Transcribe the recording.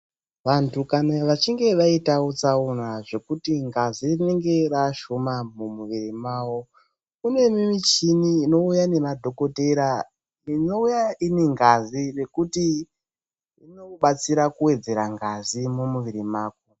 Vanthu kana vechinge vaitawo tsaona zvekuti ngazi inenge yaashomani mumwiri mwawo. Kune michini inouya nemadhokodheya, inouya inengazi nekuti inodetsera kututsira ngazi mumwiri mwako.